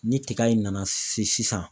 Ni tiga in nana se sisan.